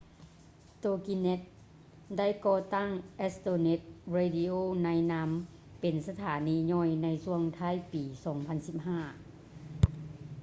ໂຕກິແນັດ toginet ໄດ້ກໍ່ຕັ້ງ astronet radio ໃນນາມເປັນສະຖານີຍ່ອຍ ໃນຊ່ວງທ້າຍປີ 2015